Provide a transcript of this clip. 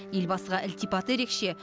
елбасыға ілтипаты ерекше